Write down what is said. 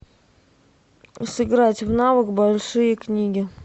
сыграть в навык большиекниги